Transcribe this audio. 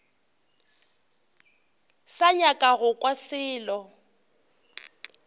sa nyaka go kwa selo